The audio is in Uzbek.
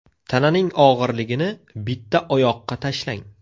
Tananing og‘irligini bitta oyoqqa tashlang.